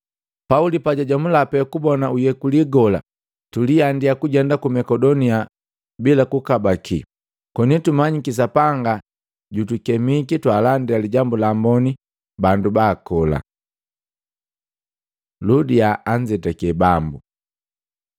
Pauli pajajomula pe kubona uyekuli gola, tuliandia kujenda ku Makedonia bila kukabaki, koni tumanyiki Sapanga jutukemiki twaalandila Lijambu la Amboni bandu baakola. Ludia anzetake Bambu